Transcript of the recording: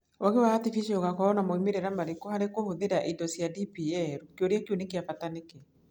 Ũũgĩ wa articificial ũgakorũo na moimĩrĩro marĩkũ harĩ kũhũthĩra indo cia DPL? Kĩũria kĩu nĩ kĩa bata nĩkĩ?